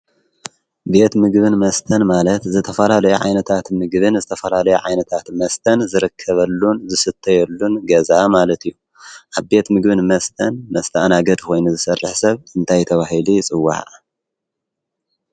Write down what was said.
?ቤት ምግብን መስተን ማለት ዘተፈላ ለየ ዓይነታት ምግብን ዝተፈላ ለይ ዓይነታት መስተን ዝረከበሉን ዝስተየሉን ገዛ ማለት እዩ ኣብ ቤት ምግብን መስተን መስተእናገድ ኾይኑ ዝሠርሕ ሰብ እንታይተውሂሊ ጽወሃናጽወሃና